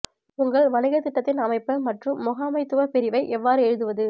உங்கள் வணிகத் திட்டத்தின் அமைப்பு மற்றும் முகாமைத்துவ பிரிவை எவ்வாறு எழுதுவது